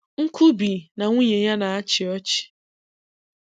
Nkubi na nwunye ya na-achị ọchị.